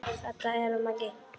Þetta er Maggi!